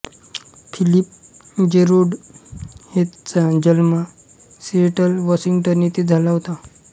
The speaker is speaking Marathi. फिलिप जेरोड हेथचा जन्म सिएटल वॉशिंग्टन येथे झाला होता